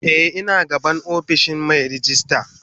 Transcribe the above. Eh ina gaban ofishin Mai rejista.